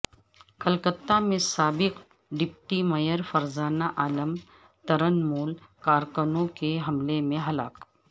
کلکتہ میں سابق deputy mayor Farzana Alam Trinamool کارکنوں کے حملہ میں ہلاک